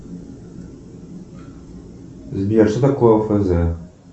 сбер что такое офз